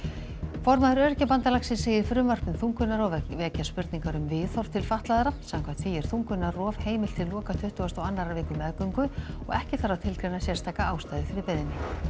formaður Öryrkjabandalagsins segir frumvarp um þungunarrof vekja spurningar um viðhorf til fatlaðra samkvæmt því er þungunarrof heimilt til loka tuttugustu og annarrar viku meðgöngu og ekki þarf að tilgreina sérstaka ástæðu fyrir beiðni